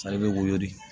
Sari bɛ woyo de